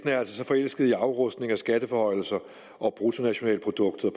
er så forelsket i afrustning og skatteforhøjelser og bruttonationalproduktet